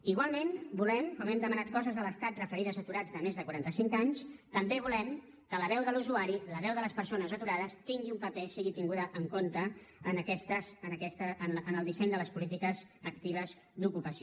igualment volem com hem demanat coses a l’estat referides a aturats de més de quaranta cinc anys també volem que la veu de l’usuari la veu de les persones aturades tingui un paper sigui tinguda en compte en el disseny de les polítiques actives d’ocupació